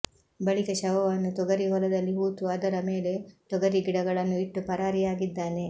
ಬಳಿಕ ಶವವನ್ನು ತೊಗರಿ ಹೊಲದಲ್ಲಿ ಹೂತು ಅದರ ಮೇಲೆ ತೊಗರಿ ಗಿಡಗಳನ್ನು ಇಟ್ಟು ಪರಾರಿಯಾಗಿದ್ದಾನೆ